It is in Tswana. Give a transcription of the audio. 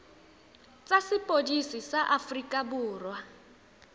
tsa sepodisi sa aforika borwa